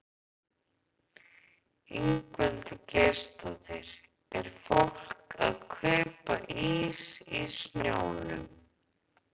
Ingveldur Geirsdóttir: Er fólk að kaupa ís í snjónum?